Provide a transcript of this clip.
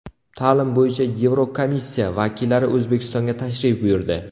Ta’lim bo‘yicha Yevrokomissiya vakillari O‘zbekistonga tashrif buyurdi.